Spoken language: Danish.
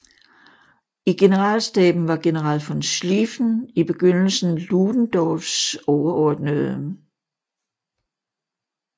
I generalstaben var general von Schliefen i begyndelsen Ludendorffs overordnede